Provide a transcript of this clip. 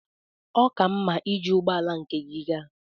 Ọ ka mma iji ụgbọ ala nke aka gị gaa.